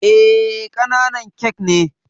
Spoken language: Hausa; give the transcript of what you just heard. Eh, ƙananan kek ne